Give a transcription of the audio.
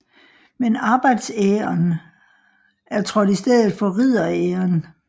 Men arbejdsæren er trådt i stedet for ridderæren